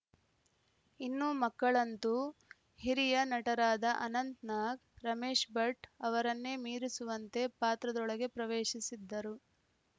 ಇನ್ನೂ ಮಕ್ಕಳಂತೂ ಹಿರಿಯ ನಟರಾದ ಅನಂತ್‌ನಾಗ್‌ ರಮೇಶ್‌ ಭಟ್‌ ಅವರನ್ನೇ ಮೀರಿಸುವಂತೆ ಪಾತ್ರದೊಳಗೆ ಪ್ರವೇಶಿಸಿದ್ದರು